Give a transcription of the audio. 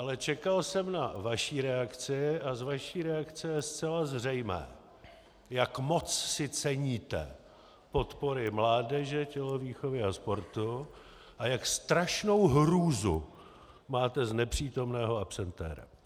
Ale čekal jsem na vaši reakci a z vaší reakce je zcela zřejmé, jak moc si ceníte podpory mládeže, tělovýchovy a sportu a jak strašnou hrůzu máte z nepřítomného absentéra.